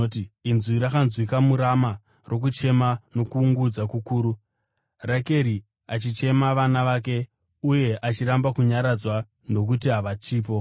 “Inzwi rakanzwikwa muRama rokuchema nokuungudza kukuru, Rakeri achichema vana vake, uye achiramba kunyaradzwa nokuti havachipo.”